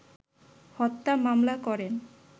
হত্যা মামলা করেন